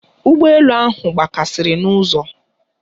Ụgbọ elu ahụ kpọkasịrị n'ụzọ.